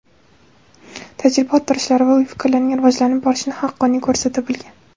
tajriba orttirishlari va o‘y-fikrlarining rivojlanib borishini haqqoniy ko‘rsata bilgan.